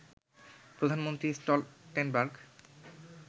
Pradhan Mantri Stoltenberg